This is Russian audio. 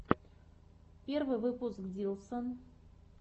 первый выпуск диллсон